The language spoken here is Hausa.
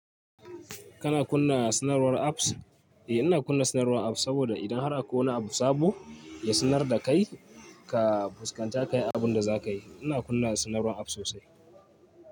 Kana kunna sanarwar apps? Eh ina kunna sanar apps sabo da idan akwai wani abu sabo ya sanar da kai ka fuskanci abun da zakayi ina kunna sanarwar apps sosai.